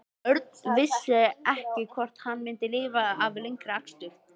Örn vissi ekki hvort hann myndi lifa af lengri akstur.